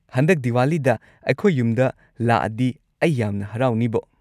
ꯍꯟꯗꯛ ꯗꯤꯋꯥꯂꯤꯗ ꯑꯩꯈꯣꯏ ꯌꯨꯝꯗ ꯂꯥꯛꯑꯗꯤ ꯑꯩ ꯌꯥꯝꯅ ꯍꯥꯔꯥꯎꯅꯤꯕꯣ꯫